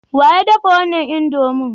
Wa ya dafa wannan indomie?